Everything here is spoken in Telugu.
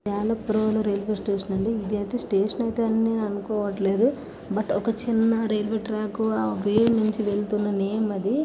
ఇది యలప్రాణు రైల్వే స్టేషన్ అండీ .ఇది స్టేషన్ అని అయితే అనుకోవడం. లేదు బట్ ఒక చిన్న రైల్వే ట్రాక్ ఆ వే నుంచి వెళ్తున్న నేమ్ అది --